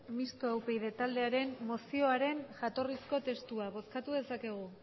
mistoa upyd taldearen mozioaren jatorrizko testua bozkatu dezakegu